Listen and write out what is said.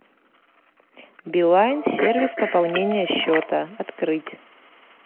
билайн сервис пополнения счета открыть